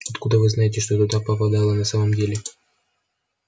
откуда вы знаете что туда попадало на самом деле